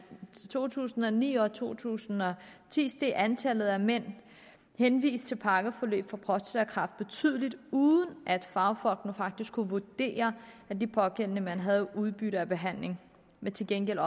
to tusind og ni og i to tusind og ti steg antallet af mænd henvist til pakkeforløb for prostatakræft betydeligt uden at fagfolkene faktisk kunne vurdere at de pågældende mænd havde udbytte af behandlingen men til gengæld